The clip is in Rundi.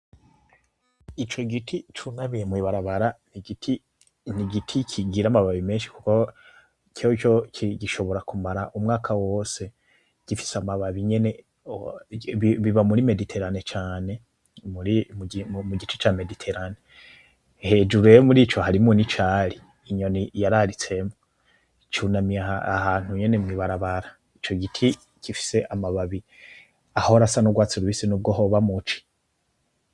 Ico giti cunamiye mwibarabara, n'igiti kigira amababi menshi kuko coco gishobora kumara umwaka wose gifise amababi nyene biba muri mediterane cane mugice ca mediteranne, hejuru rero harimwo n'icari inyoni yararitsemwo cunamiye ahantu nyene mwibarabara ico giti gifise amababi ahora asa n'urwatsi rubisi nubwo hoba muci.